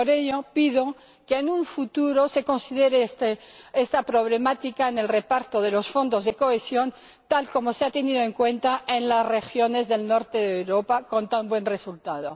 Por ello pido que en el futuro se considere esta problemática en el reparto de los Fondos de Cohesión, tal como se ha tenido en cuenta en las regiones del norte de Europa con tan buen resultado.